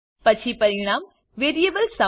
પછી પરિણામ variable sum